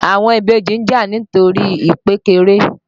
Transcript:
Àwọn ìbejì ń jà nítorí ìpékeré.